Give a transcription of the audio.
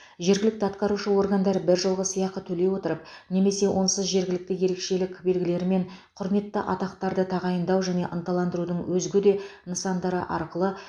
жергілікті атқарушы органдар біржолғы сыйақы төлей отырып немесе онсыз жергілікті ерекшелік белгілері мен құрметті атақтарды тағайындау және ынталандырудың өзге де нысандары арқылы